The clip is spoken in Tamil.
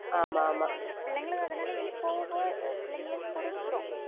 அதனால பிள்ளைங்க~ பிள்ளைங்களுக்கு அதனால இனி போகப்போக பிள்ளைங்களுக்கு புரிஞ்சிரும்